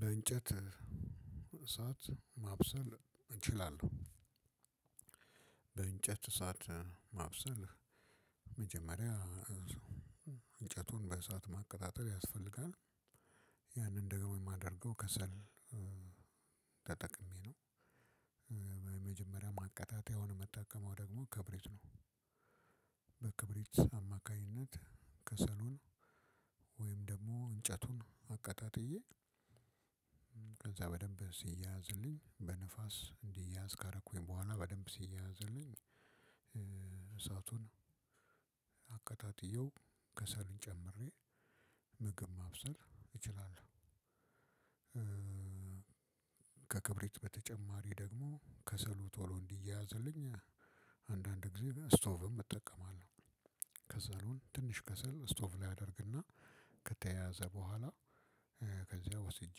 በእንጨት እሳት ማብሰል እችላለሁ። በእንጨት እሳት ማብሰል መጀመሪያ እንጨቱን በእሳት ማቀጣጠል ያስፈልጋል ያንን ደግሞ የማደርገው ከሰል ተጠቅሜ ነው። በመጀመሪያ ማቀጣጠያዉን የምጠቀመው ደግሞ ክብረት ነው። በክብሪት አማካኝነት ከሰሉን ወይም ደግሞ እንጨቱን አቀጣጥዬ ከዛ በደንብ ሲያያዝልኝ በንፋስ እንዲያያዝ ካረኩኝ በኋላ በደንብ ሲያያዝልኝ እሳቱን አቀጣጥየው ከሰሉን ጨምሬ ምግብ ማብሰል እችላለሁ። ከክብሪት በተጨማሪ ደግሞ ከሰሉ ቶሎ እንዲያያዝልኝ አንዳንድ ጊዜ ላይ ስቶቭም እጠቀማለሁ። ከሰሉን ትንሽ ከሰል ስቶቭ ላይ አደርግና ከተያዘ በኋላ ከዚያ ወስጄ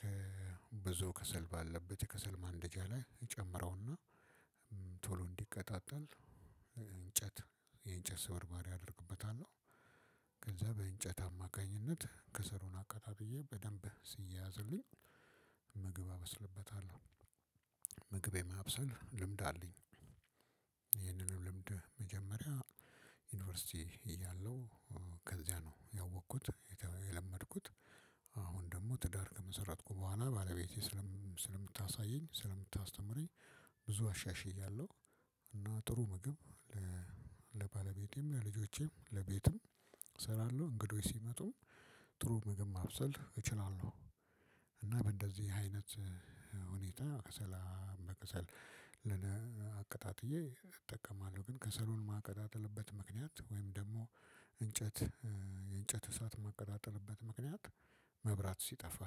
ከብዙ ከሰል ባለበት የከሰል ማንደጃ ላይ እጨምረውና ቶሎ እንዲቀጣጠል እንጨት የእንጨት ስብርባሪ አደርግበታለሁ ከዛ በእንጨት አማካኝነት ከሰሉውን አቀጣጥዬ በደንብ ሲያያዝልኝ ምግብ አበስልበታለሁ። ምግብ የማብሰል ልምድ አለኝ። ይህንኑ ልምድ መጀመሪያ ዩኒቨርሲቲ እያለሁ ከዚያ ነው ያወቅኩት የለመድኩት አሁን ትዳር ከመሰረትኩ ቡሀላ ባለቤቴ ሰለምታሳየኝ ስለምታስተምረኝ ብዙ አሻሽያለው። እና ጥሩ ምግብ ለባለቤቴም ለልጆቼም ለቤትም እሰራለሁ እንግዶች ሲመጡ ጥሩ ምግብ ማብሰል እችላለሁ። እና በእንደዚህ አይነት ሁኔታ ከሰላም በከሰል አቅጣጥዬ እጠቀማለሁ ግን ከሰሉን ማቀጣጠልበት ምክንያት ወይም ደግሞ እንጨት የእንጨት እሳት ማቀጣጠልበት ምክንያት። መብራት ሲጠፋ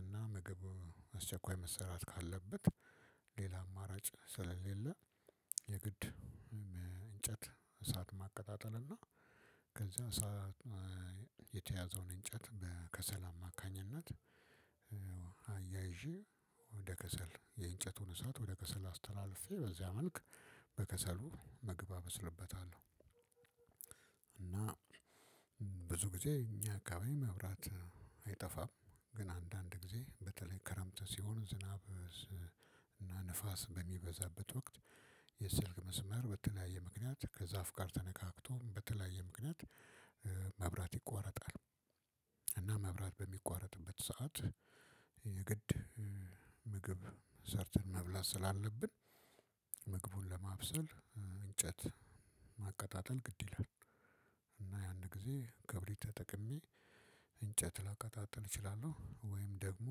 እና ምግብ አስቸኳይ መሰራት ካለበት ሌላ አማራጭ ስለሌለ የግድ እንጨት እሳት ማቀጣጠል እና ከዚያ ሰዓት የተያዘውን እንጨት በከሰል አማካኝነት አያይዤ ወደ ከሰል የእንጨቱን እሳት ወደ ከሰል አስተላልፌ በዚያ መልክ በከሰሉ ምግብ እበስልበታለሁ። እና ብዙ ጊዜ እኛ አካባቢ መብራት አይጠፋም ግን አንዳንድ ጊዜ በተለይ ክረምት ሲሆን ዝናብ እና ንፋስ በሚበዛበት ወቅት የስልክ መስመር በተለያየ ምክንያት ከዛፍ ጋር ተነካክቶም በተለያየ ምክንያት መብራት ይቋረጣል። እና መብራት በሚቋረጥበት ሰዓት የግድ ምግብ ሰርተን መብላት ስላለብን ምግቡን ለማብሰል እንጨት ማቀጣጠል ግድ ይላል። እና ያን ጊዜ ክብሪ ተጠቅሜ እንጨት ላቀጣጥል እችላለሁ ወይም ደግሞ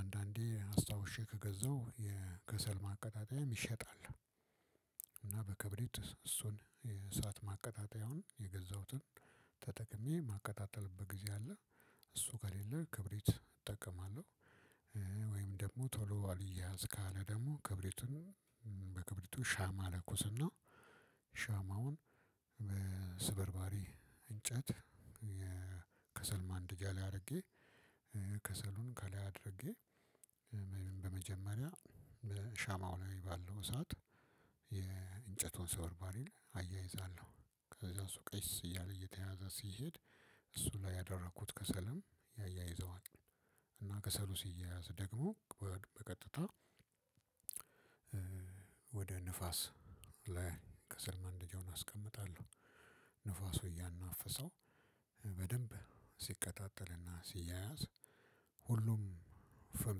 አንዳንዴ አስታውሼ ከገዛው የከሰል ማቀጣጠያም ሚሸጥ አለ። እና በክብሪት እሱን እሳት ማቀጣጠያዉን የገዛሁትን ተጠቅሜ ማቀጣጠልበት ጊዜ አለ እሱ ከሌለ ክብሪት እጠቀማለሁ። ወይም ደግሞ ቶሎ አልያያዝ ካለ ደግሞ ክብሪቱን በክብሪቱ ሻማ ለኩስና ሻማውን በስበርባሪ እንጨት ከሰልማንደጃ ላይ አድርጌ ከሰሉን ከላይ አድርጌ በመጀመሪያ በሻማው ላይ ባለው እሳት የእንጨቱን ስብርባሪ አያይዛለሁ ከዛ እሱ ቀስ እያለ እየተያያዛ ሲሄድ እሱ ላይ ያደረኩት ከሰልም ያያይዘዋል። እና ከሰሉ ሲያያዝ ደግሞ በቀጥታ ወደ ንፋስ ላይ ከሰል ማንደጃውን አስቀምጣለው። ንፋሱ እያናፈሰው በደንብ ሲቀጣጠል እና ሲያያዝ ሁሉም ፍም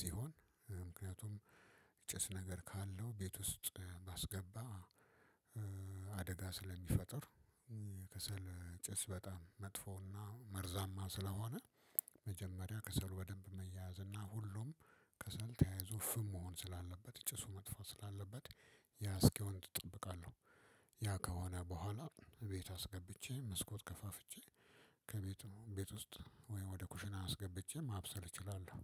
ሲሆን ምክንያቱም ምጨስ ነገር ካለው ቤት ውስጥ ባስገባ አደጋ ስለሚፈጥር ከሰል ጭስ በጣም መጥፎና መርዛማ ስለሆነ መጀመሪያ ከሰሉ በደንብ መያያዝ እና ሁሉም ከሰል ተያይዞ ፍም መሆን ስላለበት ጭሱ መጥፎ ስላለበት ያ እስኪሆን ትጠብቃለህ። ያ ከሆነ በኋላ ቤቱ አስገብቼ መስኮት ከፋፍቼ ከቤቱ ቤት ውስጥ ወይ ወደ ኩሽና አስገብቼ ማብሰል እችላለሁ።